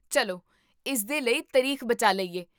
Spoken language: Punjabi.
ਚੱਲੋਇਸਦੇ ਲਈ ਤਾਰੀਖ ਬਚਾ ਲਈਏ